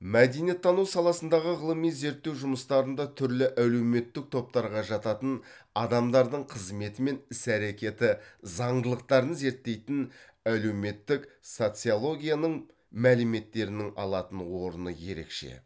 мәдениеттану саласындағы ғылыми зерттеу жүмыстарында түрлі әлеуметтік топтарға жататын адамдардың қызметі мен іс әрекеті заңдылықтарын зерттейтін әлеуметтік социологияның мөліметтерінің алатын орыны ерекше